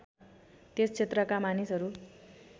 त्यस क्षेत्रका मानिसहरू